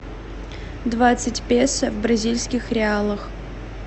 двадцать песо в бразильских реалах